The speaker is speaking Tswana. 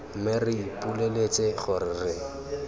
mme re ipoleletse gore re